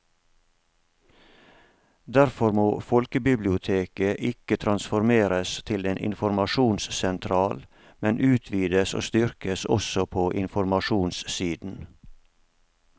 Derfor må folkebiblioteket ikke transformeres til en informasjonssentral, men utvides og styrkes også på informasjonssiden.